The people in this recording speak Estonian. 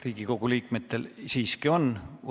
Riigikogu liikmetel siiski on küsimusi.